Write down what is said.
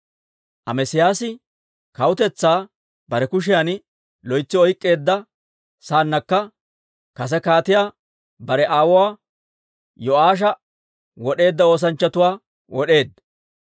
Amesiyaasi kawutetsaa bare kushiyan loytsi oyk'k'eedda saannakka, kase kaatiyaa bare aawuwaa Yo'aasha wod'eedda oosanchchatuwaa wod'eedda.